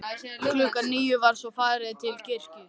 Klukkan níu var svo farið til kirkju.